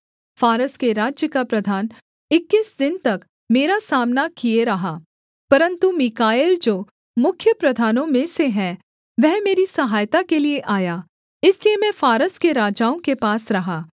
फारस के राज्य का प्रधान इक्कीस दिन तक मेरा सामना किए रहा परन्तु मीकाएल जो मुख्य प्रधानों में से है वह मेरी सहायता के लिये आया इसलिए मैं फारस के राजाओं के पास रहा